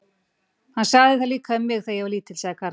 Hann sagði það líka við mig, þegar ég var lítill sagði Karl.